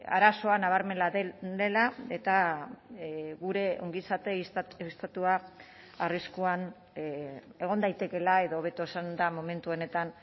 arazoa nabarmena dela eta gure ongizate estatua arriskuan egon daitekeela edo hobeto esanda momentu honetan